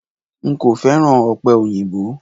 N kò féràn ọ̀pẹ̀ òyìnbó.